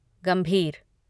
गंभीर